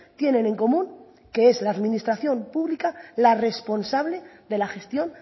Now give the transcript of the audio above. tienen en común que es la administración pública la responsable de la gestión